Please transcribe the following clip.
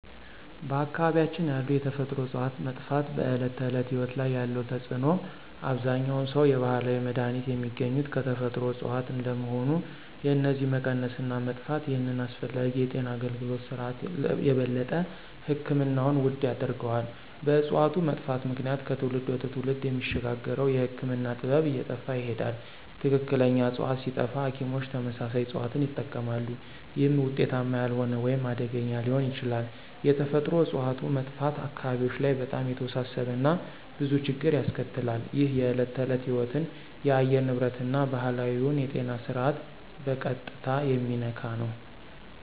በአካባቢያችን ያሉ የተፈጥሮ እፅዋት መጥፋት በዕለት ተዕለት ሕይወት ላይ ያለው ተጽዕኖ አብዛኛውን ሰው የባህላዊ መድሃኒት የሚገኙት ከተፈጥሮ እጽዋት እንደመሆኑ የነዚህ መቀነስ እና መጥፋት ይህንን አስፈላጊ የጤና አገልግሎት ስርዓት የበለጠ ሕክምናውን ውድ ያደርገዋል። በእጽዋቱ መጥፋት ምክንያት ከትውልድ ወደ ትውልድ የሚሸጋገረው የህክምና ጥበብ እየጠፋ ይሄዳል። ትክክለኛ ዕፅዋት ሲጠፋ ሐኪሞች ተመሳሳይ እጽዋትን ይጠቀማሉ፣ ይህም ውጤታማ ያልሆነ ወይም አደገኛ ሊሆን ይችላል። የተፈጥሮ እጽዋት መጥፋት አካባቢዎች ላይ በጣም የተወሳሰበ እና ብዙ ችግር ያስከትላል። ይህ የዕለት ተዕለት ሕይወትን፣ የአየር ንብረትን እና ባህላዊውን የጤና ስርዓት በቀጥታ የሚነካ ነው።